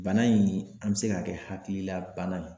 Bana in an bɛ se ka kɛ hakililabana ye.